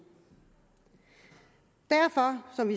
derfor